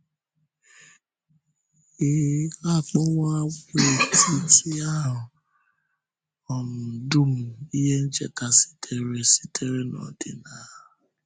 A kpọwò àgwàetiti ahụ um dum ihe ncheta sitere sitere n’ọ́dị̀nà.